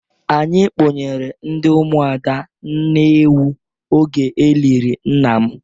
Anyi kpụnyere ndị Ụmụada nne ewu oge elịrị nna m.